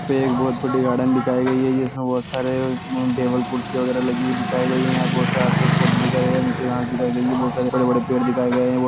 यहां पे एक बहुत बड़ी गार्डन दिखाई गई है जिसमें बहुत सारे उम टेबल कुर्सियां वगेरा लगी हुई दिखाई गई हैयहां बहुत सारे आस-पास पौधे दिखाई दे रहे हैं नीचे घास दिखाई गई है बहुत सारे बड़े-बड़े पेड़ दिखाए गए हैं बहो--